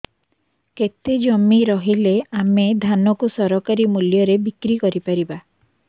କେତେ ଜମି ରହିଲେ ଆମେ ଧାନ କୁ ସରକାରୀ ମୂଲ୍ଯରେ ବିକ୍ରି କରିପାରିବା